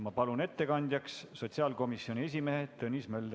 Ma palun ettekandjaks sotsiaalkomisjoni esimehe Tõnis Möldri.